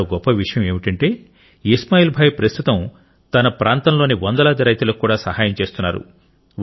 మరో గొప్ప విషయం ఏమిటంటే ఇస్మాయిల్ భాయ్ ప్రస్తుతం తన ప్రాంతంలోని వందలాది రైతులకు కూడా సహాయం చేస్తున్నారు